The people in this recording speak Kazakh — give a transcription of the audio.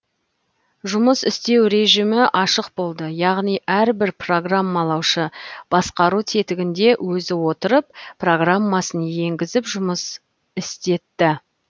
жұмыс істеу режімі ашық болды яғни әрбір программалаушы басқару тетігінде өзі отырып программасын енгізіп жұмыс істетті